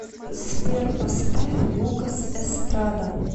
сбер поставь лукас эстрада